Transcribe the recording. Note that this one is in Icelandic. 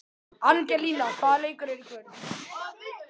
Angelína, hvaða leikir eru í kvöld?